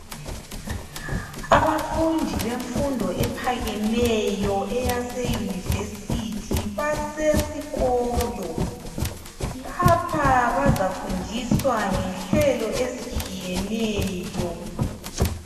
Abafundi bemfundo ephakemeyo eyase university basesikolo lapha bazafundiswa ngenhlelo ezitshiyeneyo